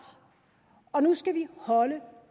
og nu skal vi holde